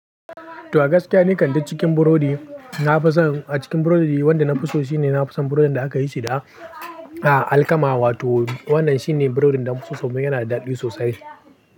To a gaskiya, ni kan duk cikin burodi. Na fi son a cikin burodi wanda na fi so shine na fi son burodin da aka yi shi da alkama. Wato wannan shine burodin da na fi so saboda yana da daɗi sosai.